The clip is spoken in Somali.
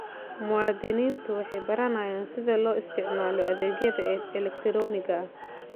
Muwaadiniintu waxay baranayaan sida loo isticmaalo adeegyada elegtarooniga ah.